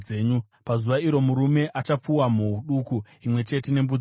Pazuva iro, murume achapfuwa mhou duku imwe chete nembudzi mbiri.